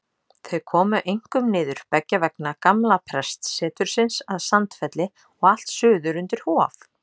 Þau komu einkum niður beggja vegna gamla prestsetursins að Sandfelli og allt suður undir Hof.